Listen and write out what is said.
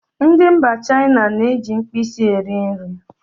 Ndị mba China na-eji mkpịsị eri nri